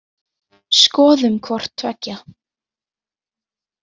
Skoðum hvort tveggja.